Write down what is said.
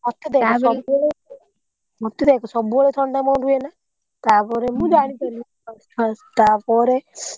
ସବୁବେଳେ ମୋ ଦିହରେ ଆକା ସବୁବେଳେ ଥଣ୍ଡା ମୋର ରୁହେନା ତାପରେମୁଁ ଜାଣିପାଇଲି first first ତାପରେ।